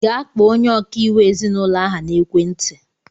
Gaa kpọọ onye ọkaiwu ezinaụlọ ahụ na-ekwe ntị!